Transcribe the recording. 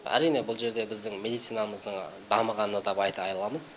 әрине бұл жерде біздің медицинамыздың дамығаны да айта аламыз